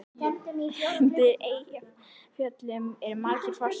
Undir Eyjafjöllum eru margir fossar.